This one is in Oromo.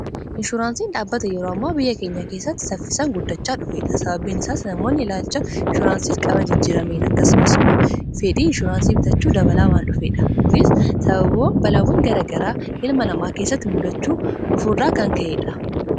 Inshuraansiin dhaabata yeroo ammaa biyya keenya keessatti saffisaan guddachaa dhufeedha. sababiin isaas namoonni ilaalcha inshuraansiif qaban jijjiramee akkasumas immoo fedhii inshuraansii bitachuu dabalaa waan dhufeedha . kunis sabab balaawwan garagaraa ilma namaa keessatti muddachaa dhufuurraa kan ka'eedha.